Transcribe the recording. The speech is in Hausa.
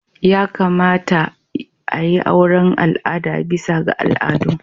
Ya kamata a yi auren al'ada bisa ga al'adu.